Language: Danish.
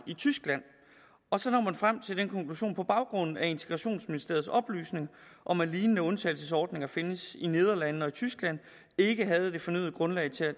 i tyskland og så når man frem til den konklusion på baggrund af integrationsministeriets oplysning om at lignende undtagelsesordninger findes i nederlandene og i tyskland ikke havde det fornødne grundlag til at